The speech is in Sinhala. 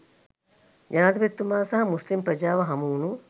ජනාධිපතිතුමා සහ මුස්ලිම් ප්‍රජාව හමුවුණු